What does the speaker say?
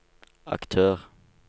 aktør